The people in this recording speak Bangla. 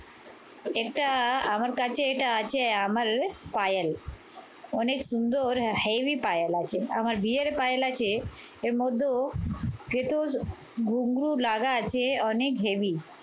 এটা আমার কাছে এটা আছে, আমার পায়েল। অনেক সুন্দর heavy পায়েল আছে। আমার বিয়ের পায়েল আছে এর মধ্যেও ঘুঙ্গুর লাগা আছে অনেক heavy